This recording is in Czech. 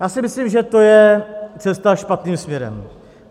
Já si myslím, že to je cesta špatným směrem.